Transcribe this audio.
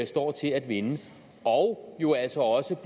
står til at vinde og jo altså også